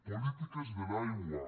polítiques de l’aigua